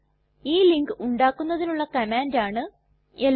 ഈ ലിങ്ക് ഉണ്ടാക്കുന്നതിനുള്ള കമാൻഡ് ആണ് എൽഎൻ